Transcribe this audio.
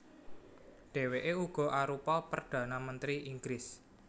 Dhèwèké uga arupa perdhana mentri Inggris